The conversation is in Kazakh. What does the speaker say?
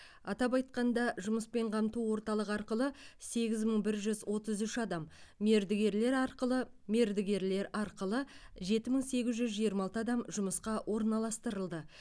атап айтқанда жұмыспен қамту орталығы арқылы сегіз мың бір жүз отыз үш адам мердігерлер арқылы мердігерлер арқылы жеті мың сегіз жүз жиырма алты адам жұмысқа орналастырылды